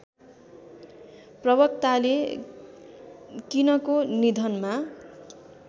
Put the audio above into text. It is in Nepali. प्रवक्ताले किनको निधनमा